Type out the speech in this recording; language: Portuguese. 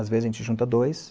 Às vezes a gente junta dois.